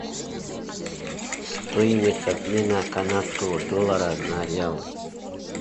стоимость обмена канадского доллара на реалы